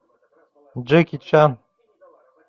джеки чан